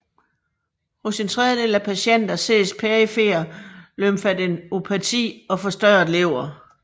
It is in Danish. Hos en tredjedel af patienter ses perifer lymfadenopati og forstørret lever